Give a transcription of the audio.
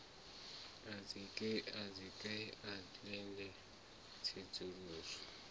a dzike a ḽindele tsedzuluso